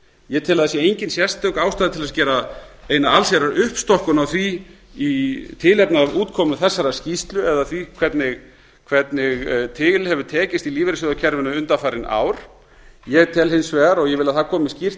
ég tel að það sé engin sérstök ástæða til að gera eina allsherjar uppstokkun á því í tilefni af útkomu þessarar skýrslu eða því hvernig til hefur tekist í lífeyrissjóðakerfinu undanfarin ár ég tel hins vegar og vil að það komi skýrt